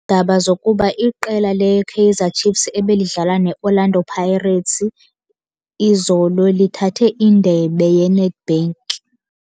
Indaba zokuba iqela leKaizer Chiefs ebelidlala neOrlando Pirates izolo lithathe indebe yeNedbank.